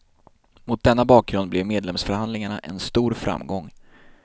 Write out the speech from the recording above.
Mot denna bakgrund blev medlemsförhandlingarna en stor framgång.